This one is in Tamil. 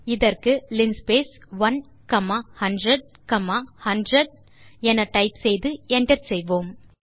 இதற்கு லின்ஸ்பேஸ் 1 காமா 100 காமா 100 என டைப் செய்து enter செய்யலாம்